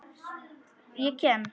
LÁRUS: Ég kem.